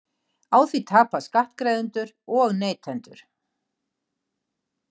Á því tapa skattgreiðendur og neytendur